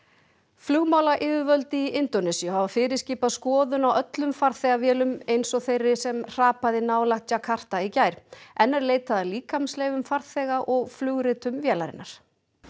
flugmálayfirvöld í Indónesíu hafa fyrirskipað skoðun á öllum farþegavélum eins og þeirri sem hrapaði nálægt djakarta í gær enn er leitað að farþega og flugritum vélarinnar